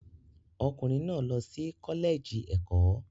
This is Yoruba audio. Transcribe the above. Ọkùnrin náà lọ sí Kọ́lẹ́ẹ̀jì Ẹ̀kọ́.